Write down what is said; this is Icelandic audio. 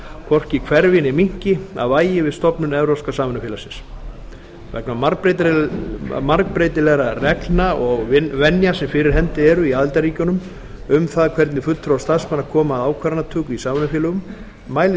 hvorki hverfi né minnki að vægi við stofnun evrópska samvinnufélagsins vegna margbreytilegra reglna og venja sem fyrir hendi eru í aðildarríkjunum um það hvernig fulltrúar starfsmanna koma að ákvarðanatöku í samvinnufélögum mælir